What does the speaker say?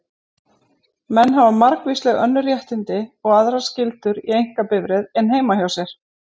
Menn hafa margvísleg önnur réttindi og aðrar skyldur í einkabifreið en heima hjá sér.